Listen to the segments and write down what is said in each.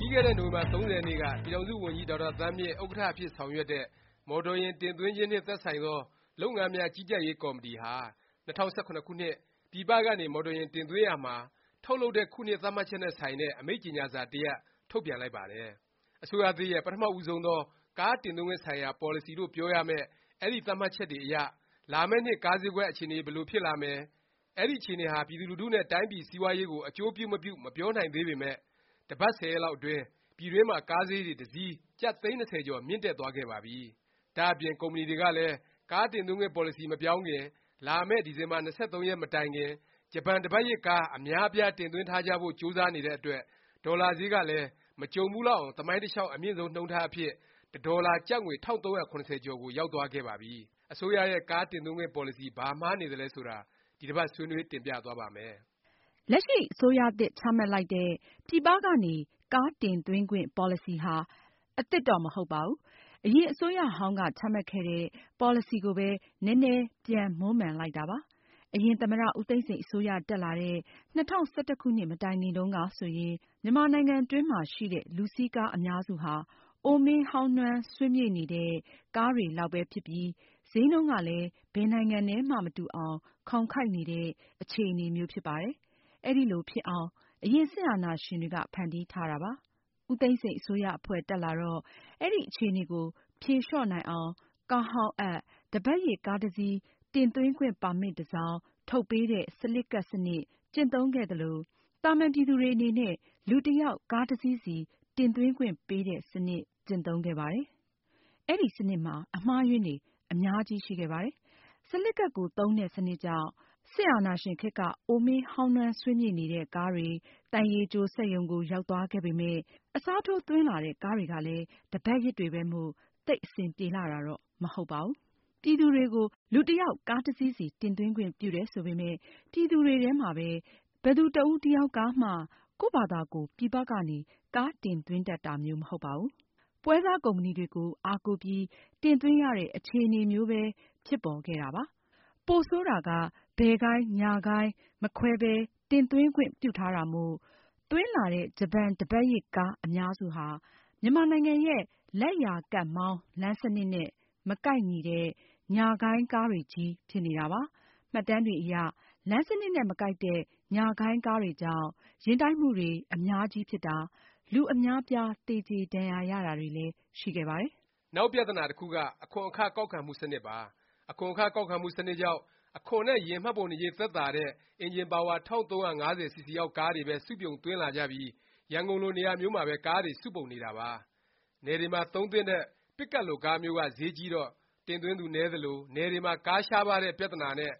ပြီးခဲ့တဲ့ နိုဝင်ဘာ ၃၀ ရက်နေ့က ပြည်ထောင်စုဝန်ကြီး ဒေါက်တာသန်းမြင့် ဥက္ကဌ အဖြစ် ဆောင်ရွက်တဲ့ အစိုးရ၊ မော်တော်ယာဉ် တင်သွင်းခြင်းနှင့် သက်ဆိုင်သော လုပ်ငန်းများ ကြီးကြပ်ရေး ကော်မတီဟာ ၂၀၁၇ ခုနှစ်အတွက် ပြည်ပကနေ မော်တော်ယာဉ် တင်သွင်းရာမှာ ထုတ်လုပ်တဲ့ခုနှစ် သတ်မှတ်ချက်နဲ့ဆိုင်တဲ့ အမိန့်ကြေငြာစာ တစ်ရပ် ထုတ်ပြန်လိုက်ပါတယ်။ အစိုးရသစ်ရဲ့ ပထမဦးဆုံးသော ကားတင်သွင်းခွင့် ဆိုင်ရာ ပေါ်လစီလို့ ပြောရမယ့် အဲဒီသတ်မှတ်ချက်တွေအရ လာမယ့်နှစ် ကားဈေးကွက် အခြေအနေ ဘယ်လိုဖြစ်လာမယ်၊ အဲဒီအခြေအနေဟာ ပြည်သူလူထုနဲ့ တိုင်းပြည်စီးပွားရေးကို အကျိုးပြုမပြု မပြောနိုင်သေးပေမယ့် တစ်ပတ်၊ဆယ်ရက်လောက်အတွင်း ပြည်တွင်းမှာ ကားဈေးတွေ မြင့်တက်သွားခဲ့ပါပြီ။ ဒါ့အပြင် ကုမ္ပဏီတွေကလည်း ကားတင်သွင်းခွင့် ပေါ်လစီ မပြောင်းခင် လာမယ့် ဒီဇင်ဘာ ၂၃ ရက်မတိုင်ခင် ဂျပန်တစ်ပတ်ရစ် ကား အများအပြား တင်သွင်းထားကြဖို့ ကြိုးစားနေတဲ့အတွက် ဒေါ်လာဈေးဟာလည်း မကြုံဘူးလောက်အောင် သမိုင်းတလျောက် အမြင့်ဆုံးနှုန်းထားအဖြစ် တစ်ဒေါ်လာ ကျပ်ငွေ ၁၃၇၀ကျော်ကို ရောက်သွားခဲ့ပါပြီ။ အစိုးရရဲ့ ကားတင်သွင်းခွင့်ပေါ်လစီ ဘာမှားနေသလဲ ဆိုတာ ဒီတစ်ပတ် ဆွေးနွေး တင်ပြသွားပါ့မယ်။ လက်ရှိ အစိုးရသစ် ချမှတ်လိုက်တဲ့ ပြည်ပကနေ ကားတင်သွင်းခွင့် ပေါ်လစီဟာ အသစ်တော့ မဟုတ်ပါဘူး။ အရင် အစိုးရဟောင်းက ချမှတ်ခဲ့တဲ့ ပေါ်လစီကိုပဲ နည်းနည်း ပြန်မွမ်းမံလိုက်တာပါ။ အရင်သမ္မတ ဦးသိန်းစိန် အစိုးရ တက်လာတဲ့ ၂၀၁၁ မတိုင်ခင်တုန်းကဆိုရင် မြန်မာနိုင်ငံတွင်းမှာ ရှိတဲ့လူစီးကား အများစုဟာ အိုမင်းဟောင်းနွမ်း ဆွေးမြေ့နေတဲ့ ကားတွေလောက်ပဲ ဖြစ်ပြီး ဈေးနှုန်းကလည်း ဘယ်နိုင်ငံနဲ့မှ မတူအောင် ခေါင်ခိုက်နေတဲ့ အခြေအနေမျိုး ဖြစ်ပါတယ်။ အဲဒီလိုဖြစ်အောင် အရင် စစ်အာဏာရှင်တွေက ဖန်တီးထားတာပါ။ ဦးသိန်းစိန် အစိုးရအဖွဲ့ တက်လာတော့ အဲဒီအခြေအနေကို ဖြေလျော့နိုင်အောင် ကားဟောင်းအပ်၊ တစ်ပတ်ရစ် ကားတစ်စီး တင်သွင်းခွင့် ပါမစ် တစ်စောင် ထုတ်ပေးတဲ့ စလစ်ကပ် စနစ် ကျင့်သုံးခဲ့သလို၊ သာမန်ပြည်သူတွေ အနေနဲ့ လူတစ်ယောက် ကားတစ်စီးစီ တင်သွင်းခွင့်ပေးတဲ့ စနစ် ကျင့်သုံးခဲ့ပါတယ်။ အဲဒီ စနစ်မှာ အမှားအယွင်းတွေ အများကြီး ရှိခဲ့ပါတယ်။ စလစ်ကပ် စနစ်ကြောင့် စစ်အာဏာရှင်ခေတ်က အိုမင်းဟောင်းနွမ်း ဆွေးမြေ့နေတဲ့ ကားတွေ သံရေကြိုစက်ရုံကို ရောက်သွားခဲ့ပေမယ့်၊ အစားထိုးသွင်းလာတဲ့ကားတွေကလည်း တစ်ပတ်ရစ်တွေပဲမို့ သိပ်အဆင်ပြေလှတာတော့ မဟုတ်ပါဘူး။ ပြည်သူတွေကို လူတစ်ယောက် ကားတစ်စီးစီ တင်သွင်းခွင့်ပြုတယ် ဆိုပေမယ့် ပြည်သူတွေထဲမှာ ဘယ်သူ တစ်ဦးတစ်ယောက်မှ ကိုယ့်ဖာသာကိုယ် ပြည်ပကနေ ကားတင်သွင်းတတ်တာမျိုး မဟုတ်ပါဘူး။ ပွဲစားကုမ္ပဏီတွေကို အားကိုးပြီး တင်သွင်းရတဲ့ အခြေအနေမျိုးပဲ ဖြစ်ပေါ်ခဲ့တာပါ။ ပိုဆိုးတာက ဘယ်ဂိုင်း၊ ညာဂိုင်း မခွဲပဲ တင်သွင်းခွင့် ပြုထားတာမို့ သွင်းလာတဲ့ ဂျပန်တစ်ပတ်ရစ် ကား အများစုဟာ မြန်မာနိုင်ငံရဲ့ လက်ျာကပ်မောင်း လမ်းစနစ်နဲ့ မကိုက်ညီတဲ့ ညာဂိုင်းကားတွေချည်းဖြစ်နေတာပါ။ မှတ်တမ်းတွေအရ လမ်းစနစ်နဲ့ မကိုက်တဲ့ ညာဂိုင်းကားတွေကြောင့် ယာဉ်မတော်တဆမှုတွေ အများကြီးဖြစ်တာ၊ လူအများအပြား သေကြေဒါဏ်ရာရတာတွေလည်း ရှိခဲ့ပါတယ်။ နောက်ပြသနာတစ်ခုက အခွန်အခ ကောက်ခံမှုစနစ်ပါ။ အခွန်အခ ကောက်ခံမှုစနစ်ကြောင့် အခွန်နဲ့ ယာဉ်မှတ်ပုံတင်ကြေး သက်သာတဲ့ အင်ဂျင်ပါဝါ ၁၃၅၀ စီစီအောက် ကားတွေပဲ စုပြုံသွင်းလာကြပြီး ရန်ကုန်လို နေရာမျိုးမှာပဲ ကားတွေ စုပုံနေတာပါ။ နယ်တွေမှာ သုံးသင့်တဲ့ပစ်ကပ်လိုကားမျိုးက ဈေးကြီးတော့ တင်သွင်းသူ နည်းသလို၊ နယ်တွေမှာ ကားရှားပါးတဲ့ ပြသနာနဲ့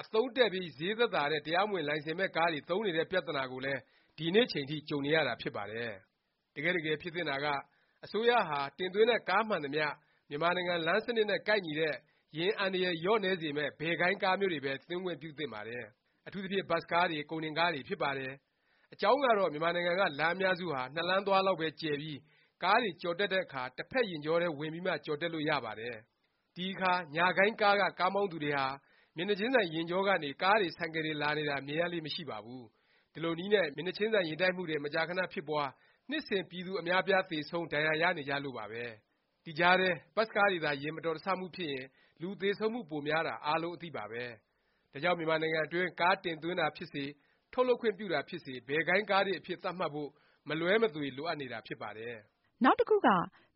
အသုံးတည့်ပြီး ဈေးသက်သာတဲ့ တရားမဝင် လိုင်စင်မဲ့ကားတွေ သုံးနေတဲ့ပြသနာကိုလည်း ဒီနေ့ထက်ထိ ကြုံနေရတာ ဖြစ်ပါတယ်။ တကယ့်တကယ်ဖြစ်သင့်တာက အစိုးရဟာ တင်သွင်းတဲ့ ကားမှန်သမျှ မြန်မာနိုင်ငံ လမ်းစနစ်နဲ့ ကိုက်ညီတဲ့၊ ယာဉ်အန္တရယ် လျော့နည်းစေမယ့် ဘယ်ဂိုင်းကားမျိုးတွေပဲ သွင်းခွင့်ပြုသင့်ပါတယ်။ အထူးသဖြင့် ဘတ်စ်ကားတွေ၊ ကုန်တင်ကားတွေ ဖြစ်ပါတယ်။ အကြောင်းကတော့ မြန်မာနိုင်ငံက လမ်းအများစုဟာ နှစ်လမ်းသွားလောက်ပဲ ကျယ်ပြီး ကားတွေ ကျော်တက်တဲ့အခါ တစ်ဖက်ယာဉ်ကြောထဲ ဝင်ပြီးမှ ကျော်တက်လို့ ရပါတယ်။ ဒီအခါ ညာဂိုင်းကားက ကားမောင်းသူတွေဟာ မျက်နှာခြင်းဆိုင် ယာဉ်ကြောကနေ ကားတွေ၊ ဆိုင်ကယ်တွေ လာနေတာ မြင်ရလေ့ မရှိပါဘူး။ ဒီလိုနည်းနဲ့ မျက်နှာခြင်းဆိုင် ယာဉ်တိုက်မှုတွေ မကြာခဏဖြစ်ပွား၊ နှစ်စဉ် ပြည်သူအများအပြား သေဆုံး၊ ဒါဏ်ရာရနေကြလို့ပါပဲ။ ဒီကြားထဲ ဘတ်စ်ကားတွေသာ ယာဉ်မတော်တဆမှုဖြစ်ရင် လူသေဆုံးမှု ပိုများတာ အားလုံးအသိပါပဲ။ ဒါကြောင့် မြန်မာနိုင်ငံတွင်း ကားတင်သွင်းတာဖြစ်စေ၊ ထုတ်လုပ်ခွင့်ပြုတာ ဖြစ်စေ ဘယ်ဂိုင်းကားတွေ အဖြစ် သတ်မှတ်ဖို့ မလွဲမသွေ လိုအပ်နေတာ ဖြစ်ပါတယ်။ နောက်တစ်ခုက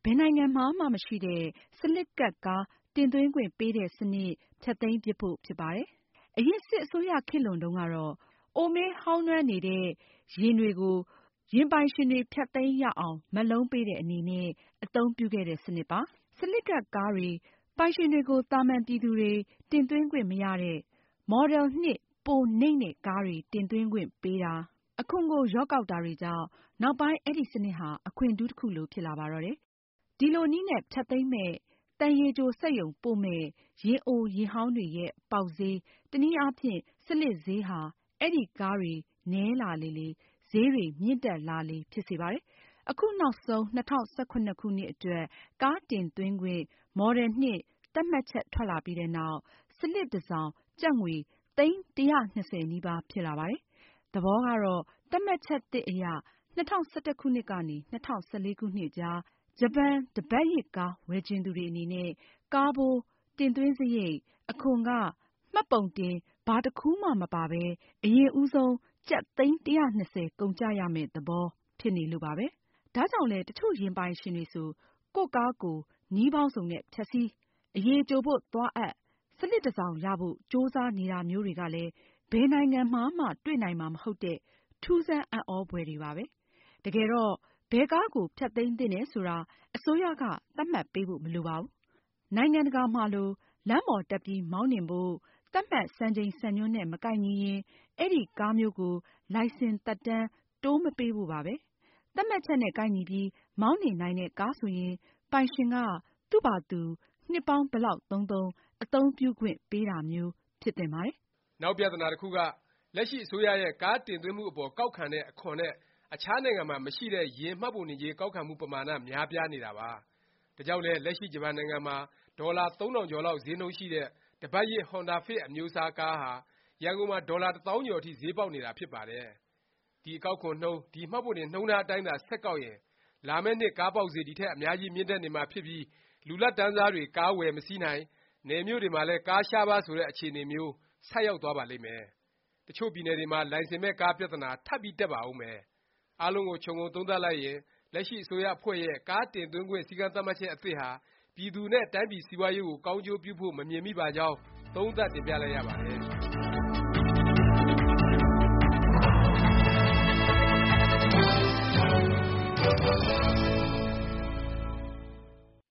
ဘယ်နိုင်ငံမှာမှ မရှိတဲ့ စလစ်ကပ်ကား တင်သွင်းခွင့်ပေးတဲ့ စနစ် ဖျက်သိမ်းပစ်ဖို့ ဖြစ်ပါတယ်။ အရင် စစ်အစိုးရ ခေတ်လွန်တုန်းကတော့ အိုမင်းဟောင်းနွမ်းဆွေးမြေ့နေတဲ့ ယာဉ်ပိုင်ရှင်တွေ သူတို့ယာဉ်တွေကို ဖျက်သိမ်းရအောင် မက်လုံးပေးတဲ့အနေနဲ့ အသုံးပြုခဲ့တဲ့ စနစ်ပါ။ စလစ်ကပ် ကားတွေပိုင်ရှင်တွေကို သာမန်ပြည်သူတွေ တင်သွင်းခွင့်မရတဲ့၊ မော်ဒယ်နှစ် ပိုနိမ့်တဲ့ကားတွေ တင်သွင်းခွင့်ပေးတာ၊ အခွန်ကို လျော့ကောက်တာတွေကြောင့် နောက်ပိုင်း အဲဒီ စနစ်ဟာ အခွင့်ထူးတစ်ခုလို ဖြစ်လာပါတော့တယ်။ ဒီလိုနည်းနဲ့ ဖျက်သိမ်းမယ့်၊ သံရေကြိုစက်ရုံ ပို့မယ့် ယာဉ်အိုယာဉ်ဟောင်းတွေရဲ့ ပေါက်ဈေး၊ တစ်နည်းအားဖြင့် စလစ်ဈေးဟာ အဲဒီကားတွေ နည်းလာလေလေ၊ ဈေးတွေ မြင့်တက်လာလေ ဖြစ်စေပါတယ်။ အခုနောက်ဆုံး ၂၀၁၇ ခုနှစ်အတွက် ကားတင်သွင်းခွင့် မော်ဒယ်နှစ် သတ်မှတ်ချက် ထွက်လာပြီးနောက် စလစ်တစ်စောင် ကျပ်ငွေ သိန်း ၁၂၀ နီးပါး ဖြစ်လာပါတယ်။ သဘောကတော့ သတ်မှတ်ချက်သစ်အရ ၂၀၁၁ ခုနှစ်ကနေ ၂၀၁၄ ခုနှစ်အကြား ဂျပန်တစ်ပတ်ရစ်ကား ဝယ်ချင်သူတွေ အနေနဲ့ ကားဖိုး၊ တင်သွင်းစားရိတ်၊ အခွန်အခ၊ မှတ်ပုံတင် ဘာတစ်ခုမှ မပါပဲ အရင်ဦးဆုံး ကျပ်သိန်း ၁၂၀ ကုန်ကျရမယ့် သဘောဖြစ်နေလို့ပါပဲ။ ဒါကြောင့်လဲ တစ်ချို့ယာဉ်ပိုင်ရှင်တွေဆို ကိုယ့်ကားကို ကိုယ် နည်းပေါင်းစုံနဲ့ ဖျက်ဆီး၊ အရေကြိုဖို့သွားအပ်၊ စလစ်တစ်စောင်ရဖို့ ကြိုးစားနေတာမျိုးတွေကလည်း ဘယ်နိုင်ငံမှာမှ တွေ့နိုင်မှာ မဟုတ်တဲ့ ထူးဆန်းအံ့သြဖွယ်တွေပါပဲ။ တကယ်တော့ ဘယ်ကားကို ဖျက်သိမ်းသင့်တယ်ဆိုတာ အစိုးရက သတ်မှတ်ပေးဖို့ မလိုပါဘူး။ နိုင်ငံတကာမှာလို လမ်းပေါ်တက်ပြီး မောင်းနှင်ဖို့ သတ်မှတ် စံချိန်စံညွှန်းနဲ့ မကိုက်ညီရင် အဲဒီကားမျိုးကို လိုင်စင်သက်တမ်း တိုးမပေးဖို့ပါပဲ။ သတ်မှတ်ချက်နဲ့ ကိုက်ညီပြီး မောင်းနှင်နိုင်တဲ့ကား ဆိုရင် ပိုင်ရှင်က သူ့ဖာသာသူ နှစ်ပေါင်းဘယ်လောက်သုံးသုံး အသုံးပြုခွင့်ပေးတာမျိုး ဖြစ်သင့်ပါတယ်။ နောက်ပြသနာတစ်ခုက လက်ရှိ အစိုးရရဲ့ ကားတင်သွင်းမှုအပေါ် ကောက်တဲ့အခွန်နဲ့ အခြားနိုင်ငံမှာ မရှိတဲ့ ယာဉ်မှတ်ပုံတင်ကြေး ကောက်ခံမှု ပမာဏ များပြားနေတာပါ။ ဒါကြောင့်လည်း လက်ရှိ ဂျပန်နိုင်ငံမှာ ဒေါ်လာ ၃၀၀၀ ကျော်လောက် ဈေးနှုန်းရှိတဲ့ တစ်ပါတ်ရစ် ဟွန်ဒါဖစ် အမျိုးအစားကားဟာ ရန်ကုန်မှာ ဒေါ်လာ တစ်သောင်းကျော်အထိ ဈေးပေါက်နေတာ ဖြစ်ပါတယ်။ ဒီအကောက်ခွန်နှုန်း၊ ဒီ မှတ်ပုံတင်နှုန်းထား အတိုင်းသာ ဆက်ကောက်ရင် လာမယ့်နှစ် ကားပေါက်ဈေး ဒီထက် အများကြီး မြင့်တက်နေမှာဖြစ်ပြီး လူလတ်တန်းစားတွေ ကားဝယ်မစီးနိုင်၊ နယ်မြို့တွေမှာလည်း ကားရှားပါး ဆိုတဲ့ အခြေအနေမျိုး ဆိုက်ရောက်သွားပါလိမ့်မယ်။ တစ်ချို့ပြည်နယ်တွေမှာ လိုင်စင်မဲ့ကား ပြသနာ ထပ်ပြီးတက်ပါဦးမယ်။ အားလုံးကို ခြုံငုံသုံးသပ်လိုက်ရင် လက်ရှိ အစိုးရအဖွဲ့ရဲ့ ကားတင်သွင်းခွင့် စည်းကမ်းသတ်မှတ်ချက် အသစ်ဟာ ပြည်သူတွေနဲ့ တိုင်းပြည်စီးပွားရေးကို ကောင်းကျိုးပြုဖို့ မမြင်မိပါကြောင်း သုံးသပ်တင်ပြလိုက်ရပါတယ်။